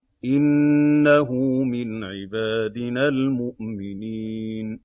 إِنَّهُ مِنْ عِبَادِنَا الْمُؤْمِنِينَ